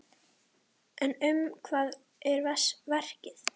En um hvað er verkið?